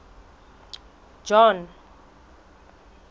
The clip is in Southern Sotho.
john